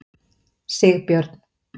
Sigbjörn